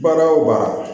Baara o baara